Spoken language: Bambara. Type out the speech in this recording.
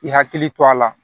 I hakili to a la